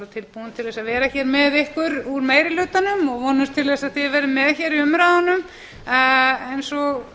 tilbúin að vera hér með ykkur úr meiri hlutanum og vonumst til þess að þið verðið með hér í umræðunum eins og